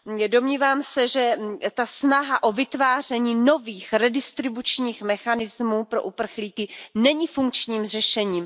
Domnívám se, že ta snaha o vytváření nových redistribučních mechanismů pro uprchlíky není funkčním řešením.